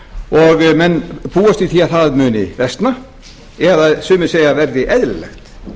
lítið menn búast við því að það muni versna eða sumir segja að það